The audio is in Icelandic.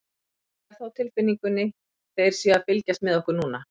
Ég hef það á tilfinningunni þeir séu að fylgjast með okkur núna.